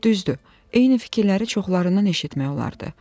Düzdür, eyni fikirləri çoxlarından eşitmək olardı.